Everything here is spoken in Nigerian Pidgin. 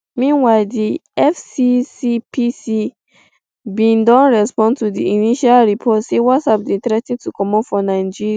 meanwhile di fccpc bin don respond to di initial report say whatsapp dey threa ten to comot for nigeria